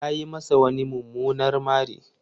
Ta yi masa wani mumunar mari.